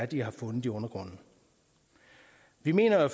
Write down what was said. de har fundet i undergrunden vi mener at